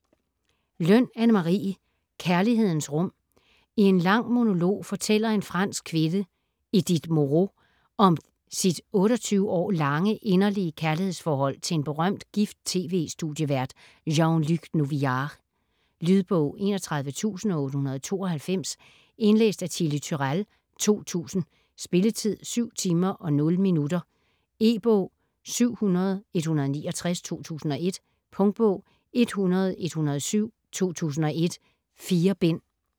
Løn, Anne Marie: Kærlighedens rum I en lang monolog fortæller en fransk kvinde, Edith Moreau, om sit 28 år lange, inderlige kærlighedsforhold til en berømt, gift TV-studievært, Jean-Luc Novillard. Lydbog 31892 Indlæst af Chili Turèll, 2000. Spilletid: 7 timer, 0 minutter. E-bog 700169 2001. Punktbog 100107 2001. 4 bind.